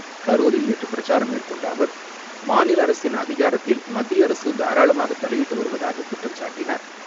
கரூரில் நேற்று பிரச்சாரம் மேற்கொண்ட அவர், மாநில அரசின் அதிகாரத்தில் மத்திய அரசு தாராளமாக தலையிட்டு வருவதாகக் குற்றம் சாட்டினார்.